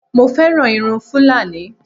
Mo fẹ́ràn irun Fúlàní